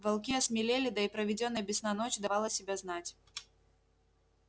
волки осмелели да и проведённая без сна ночь давала себя знать